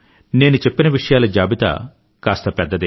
నేను చెప్పిన విషయాల జాబితా కాస్త పెద్దదే